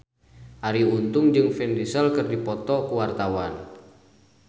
Arie Untung jeung Vin Diesel keur dipoto ku wartawan